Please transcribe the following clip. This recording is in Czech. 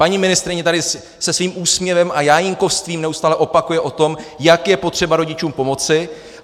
Paní ministryně tady se svým úsměvem a jájínkovstvím neustále opakuje o tom, jak je potřeba rodičům pomoci.